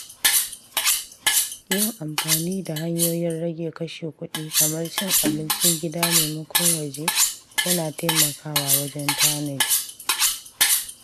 Yin amfani da hanyoyin rage kashe kuɗi kamar cin abincin gida maimakon waje yana taimakawa wajen tanadi.